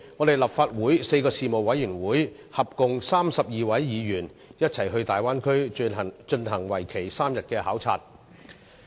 立法會4個事務委員會，合共32位議員，在上月一起到大灣區進行為期3天的考察。